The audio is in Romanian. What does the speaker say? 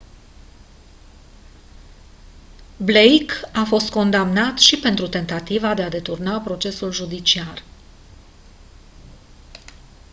blake a fost condamnat și pentru tentativa de a deturna procesul judiciar